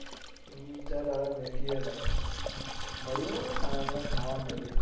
હમ્મ ચાલો હવે મુકીયે ભાઈ મળીયે હવે ખાવા મળીયે